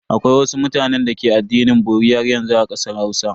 Akwai wasu mutanen da ke addinin bori haryanzu a kasar Hausa.